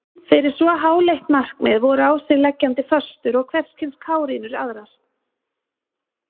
Fyrir svo háleitt markmið voru á sig leggjandi föstur og hverskyns kárínur aðrar.